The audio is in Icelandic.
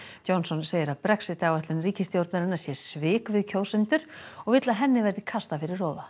Johnson segir að Brexit áætlun ríkisstjórnarinnar sé svik við kjósendur og vill að henni verði kastað fyrir róða